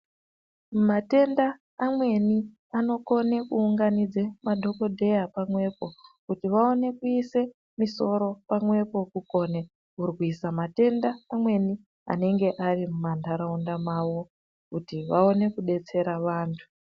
Matenda amweni anokone kuunganidza madhogodheya pamwepo. Kuti vaone kuise musoro pamwepo, kukone kurwisa matenda ameni anenge ari mumanharaunda mavo kuti vaone kubetsera antu.